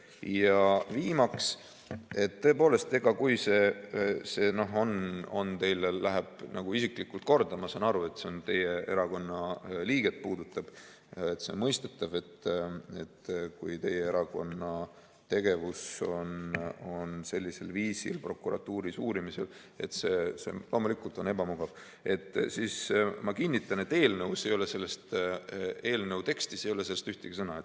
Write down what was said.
Ja viimaks, tõepoolest, kui see läheb teile nagu isiklikult korda – ma saan aru, see puudutab teie erakonna liiget, see on mõistetav, sest kui teie erakonna tegevus on sellisel viisil prokuratuuris uurimisel, siis see on loomulikult ebamugav –, siis ma kinnitan, et eelnõu tekstis ei ole sellest ühtegi sõna.